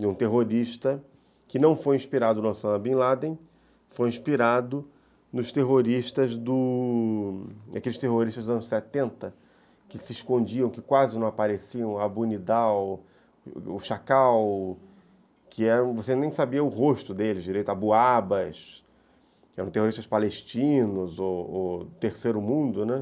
de um terrorista que não foi inspirado no Osama Bin Laden, foi inspirado nos terroristas do... aqueles terroristas dos anos setenta, que se escondiam, que quase não apareciam, Abu Nidal, o Chacal, que você nem sabia o rosto deles direito, Abu Abbas, que eram terroristas palestinos, o Terceiro Mundo, né?